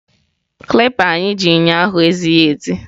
Kalịpa anyị ji ụnyaahụ ezighi ezi.